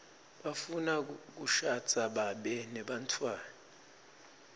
bafuna kushadza babe nebantfwana